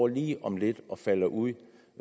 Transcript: lige om lidt at falde ud